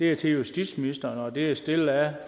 er til justitsministeren og det er stillet af